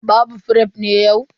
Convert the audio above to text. Babu fref ne yau?